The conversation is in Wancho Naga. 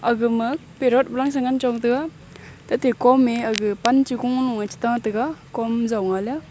aga ma perot walang sengan chong tega tate kom e aga pan cho ku lo e cheka tega kom zong a le a.